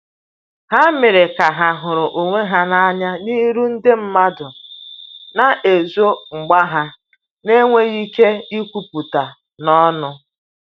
Ha mere ka ha huru onwe ha na anya n'iru ndi madu na ezo mgba ha n enweghi ike ikwuputa n'onu